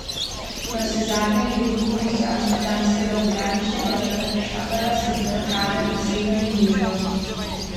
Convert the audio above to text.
Navsezadnje je denimo iz amsterdamskega botaničnega vrta prišla prva sadika kave v Srednjo in Južno Ameriko, kar je bil začetek kavne industrije na tej celini.